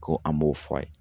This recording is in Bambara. Ko an b'o fɔ a ye